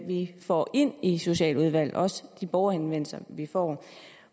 vi får ind i socialudvalget også de borgerhenvendelser vi får